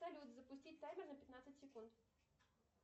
салют запустить таймер на пятнадцать секунд